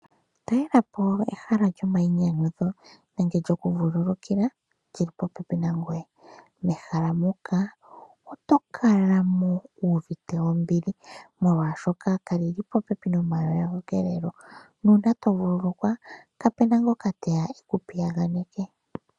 Talela po ehala lyomayinyanyudho nenge lyokuvululukila li li popepi nangoye. Mehala muka oto kala mo wu uvite ombili, molwashoka ka li li popepi nomakudhilo nuuna to vululukwa kapu na ngoka teya e ku piyaganeke.